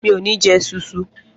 Mi ò ní jẹ esunsun